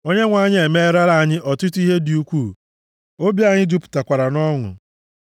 Onyenwe anyị emeerala anyị ọtụtụ ihe dị ukwuu, obi anyị jupụtakwara nʼọṅụ.